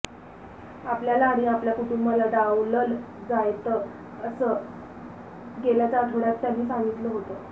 आपल्याला आणि आपल्या कुटुंबाला डावलंल जायंत असं गेल्याच आठवड्यात त्यांनी सांगितलं होतं